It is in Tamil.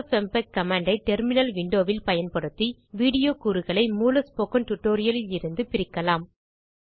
எஃப்எப்எம்பெக் கமாண்ட் ஐ டெர்மினல் விண்டோ வில் பயன்படுத்தி videoகூறுகளை மூல ஸ்போக்கன் டியூட்டோரியல் இருந்து பிரிக்கலாம்